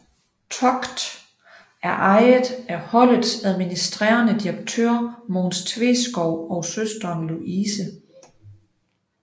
TOGT er ejet af holdets administerende direktør Mogens Tveskov og søsteren Louise